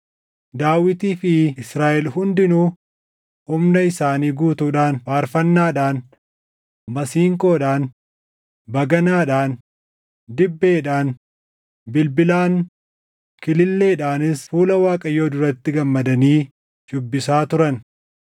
Daawitii fi Israaʼel hundinuu humna isaanii guutuudhaan faarfannaadhaan, masiinqoodhaan, baganaadhaan, dibbeedhaan, bilbilaan, Kililleedhaanis fuula Waaqayyoo duratti gammadanii shuubbisaa turan.